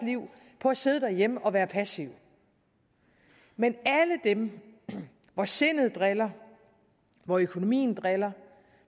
liv på at sidde derhjemme og være passive men alle dem hvor sindet driller hvor økonomien driller